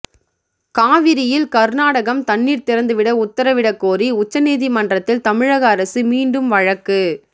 காவிரியில் கர்நாடகம் தண்ணீர் திறந்துவிட உத்தரவிடக் கோரி உச்சநீதிமன்றத்தில் தமிழகஅரசு மீண்டும் வழக்கு